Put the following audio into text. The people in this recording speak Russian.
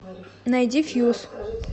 найди фьюз